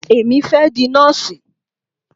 Èmi fẹ́ di nọ́ọ̀sì.